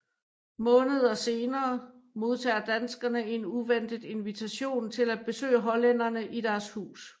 Måneder senere modtager danskerne en uventet invitation til at besøge hollænderne i deres hus